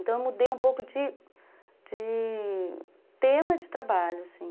Então eu mudei um pouco de de tema de trabalho, assim